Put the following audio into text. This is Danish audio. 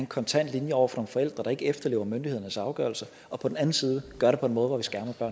kontant linje over for forældre der ikke efterlever myndighedernes afgørelse og på den anden side at gøre det på en måde hvor